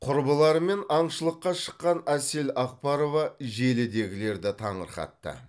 құрбыларымен аңшылыққа шыққан әсел ақбарова желідегілерді таңырқатты